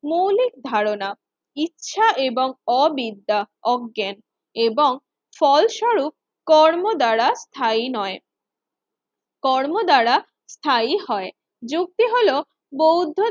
মৌলিক ধারণা ইচ্ছা এবং অবিদ্যা অজ্ঞান এবং ফলস্বরূপ কর্ম দ্বারা স্থায়ী নয়। কর্ম দ্বারা স্থায়ী হয় যুক্তি হল বৌদ্ধ